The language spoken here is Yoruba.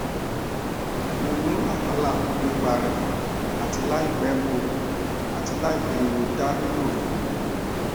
mo ni wahala nipa rẹ ati laipẹ mo ati laipẹ mo da lilo rẹ duro